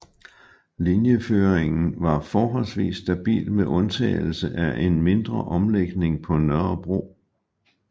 Linjeføringen var forholdsvis stabil med undtagelse af en mindre omlægning på Nørrebro